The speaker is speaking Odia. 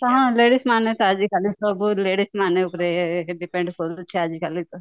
ହଁ ladies ମାନେ ଆଜି କଲି ସବୁ ladies ମାନେ ଉପରେ depend କରୁଛି ଆଜି କାଲିତ